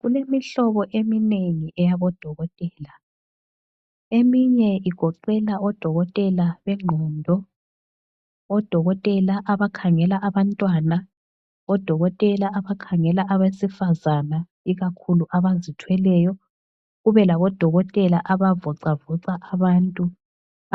Kulemihlobo eminengi eyabodokotela. Eminye igoqela odokotela bengqondo, odokotela abakhangela abantwana, odokotela abakhangela abesifazana ikakhulu abazithweleyo, kube labodokotela abavoxavoxa abantu